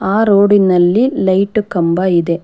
ಆ ರೋಡಿನಲ್ಲಿ ಲೈಟು ಕಂಬ ಇದೆ.